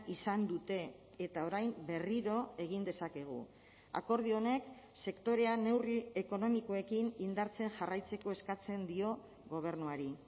izan dute eta orain berriro egin dezakegu akordio honek sektorean neurri ekonomikoekin indartzen jarraitzeko eskatzen dio gobernuari